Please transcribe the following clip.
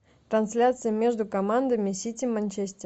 трансляция между командами сити манчестер